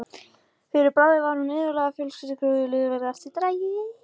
Fyrir bragðið var hún iðulega með fjölskrúðugt lið í eftirdragi.